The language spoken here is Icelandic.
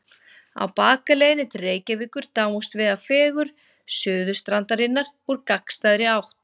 Á bakaleiðinni til Reykjavíkur dáumst við að fegurð Suðurstrandarinnar úr gagnstæðri átt.